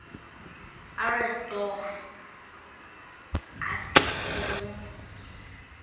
ered door asekelwe